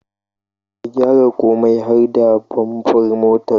Ka gyara komai har da bamfar motar